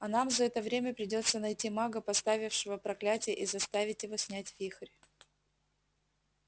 а нам за это время придётся найти мага поставившего проклятие и заставить его снять вихрь